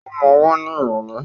Ó ma wá ní ìrọ̀lẹ́.